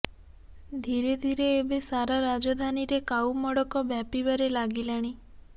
ଧୀରେ ଧୀରେ ଏବେ ସାରା ରାଜଧାନୀରେ କାଉ ମଡ଼କ ବ୍ୟାପିବାରେ ଲାଗିଲାଣି